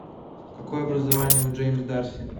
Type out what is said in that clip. какое образование у джеймс дарси